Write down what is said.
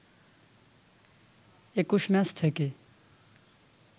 ২১ match থেকে